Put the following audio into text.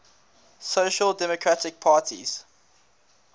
social democratic parties